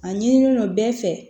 A ɲinilen don bɛɛ fɛ